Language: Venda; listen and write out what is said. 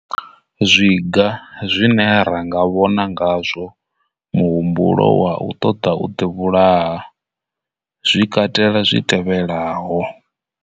Zwiga zwine ra nga vhona ngazwo muhumbulo wa u ṱoḓa u ḓivhulaha zwi katela zwi tevhelaho.